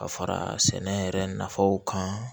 Ka fara sɛnɛ yɛrɛ nafaw kan